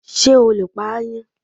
Ṣé o lè pa aáyán.?